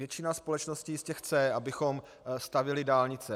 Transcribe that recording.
Většina společnosti jistě chce, abychom stavěli dálnice.